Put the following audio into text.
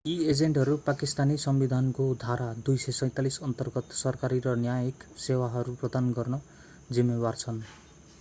यी एजेन्टहरू पाकिस्तानी संविधानको धारा 247 अन्तर्गत सरकारी र न्यायिक सेवाहरू प्रदान गर्न जिम्मेवार छन्